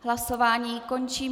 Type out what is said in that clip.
Hlasování končím.